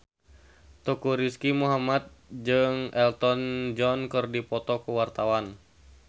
Teuku Rizky Muhammad jeung Elton John keur dipoto ku wartawan